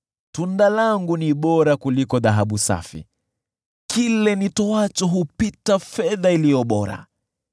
Tunda langu ni bora kuliko dhahabu safi; kile nitoacho hupita fedha iliyo bora.